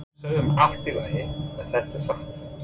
Við sögðum Allt í lagi, er þetta satt?